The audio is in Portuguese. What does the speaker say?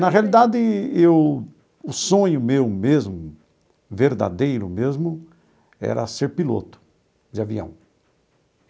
Na realidade eu, o sonho meu mesmo, verdadeiro mesmo, era ser piloto de avião.